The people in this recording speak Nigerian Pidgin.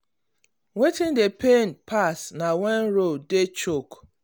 wetin dey pay pass na when road when road choke.